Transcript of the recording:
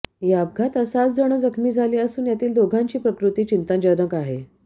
या अपघातात सात जन जखमी झाले असून यातील दोघांची प्रकृती चिंताजनक आहेत